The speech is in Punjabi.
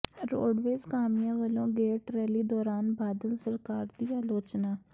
ਰੋਡਵੇਜ਼ ਕਾਮਿਆਂ ਵੱਲੋਂ ਗੇਟ ਰੈਲੀ ਦੌਰਾਨ ਬਾਦਲ ਸਰਕਾਰ ਦੀ ਆਲੋਚਨਾ